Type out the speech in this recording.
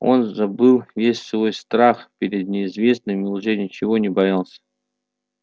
он забыл весь свой страх перед неизвестным и уже ничего не боялся